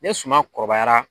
Ne suma kɔrɔbayara